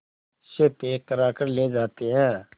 से पैक कराकर ले जाते हैं